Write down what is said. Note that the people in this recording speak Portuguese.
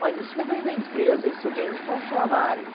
Mas isso não vem da empresa, isso vem dos funcionário.